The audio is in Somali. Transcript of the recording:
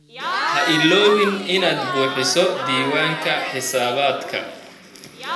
Ha iloobin inaad buuxiso diiwaanka xisaabaadka.